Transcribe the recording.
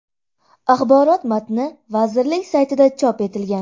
Axborot matni vazirlik saytida chop etilgan .